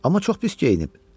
Amma çox pis geyinib.